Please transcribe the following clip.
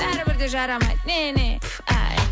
бәрібірде жарамайды не не пф ай